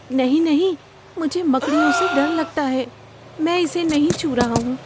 نہیں نہیں! مجھے مکڑیوں سے ڈر لگتا ہے۔ میں اسے نہیں چھو رہا ہوں۔